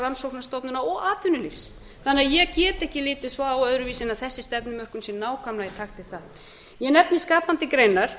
rannsóknastofnana og atvinnulífs þannig að ég get ekki litið öðruvísi á en að þessi stefnumörkun sé nákvæmlega í takt við það ég nefni skapandi greinar